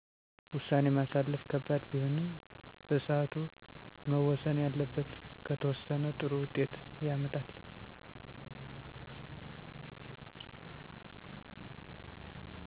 ውሳኔ ማሳለፍ ከባድ ቢሆንም በሰዓቱ መወሰን ያለበት ከተወሰነ ጥሩ ውጤት ያመጣል